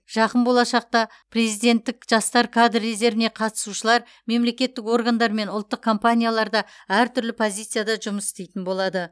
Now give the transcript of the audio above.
жақын болашақта президенттік жастар кадр резервіне қатысушылар мемлекеттік органдар мен ұлттық компанияларда әртүрлі позицияда жұмыс істейтін болады